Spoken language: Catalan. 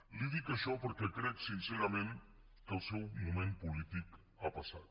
li dic això perquè crec sincerament que el seu moment polític ha passat